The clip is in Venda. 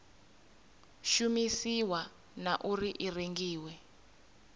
shumisiwa na uri i rengiwa